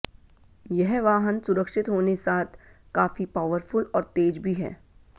यह वाहन सुरक्षित होने साथ काफी पॉवरफुल और तेज भी है